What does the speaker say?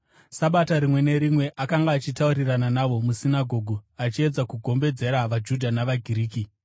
Sabata rimwe nerimwe akanga achitaurirana navo musinagoge, achiedza kugombedzera vaJudha navaGiriki.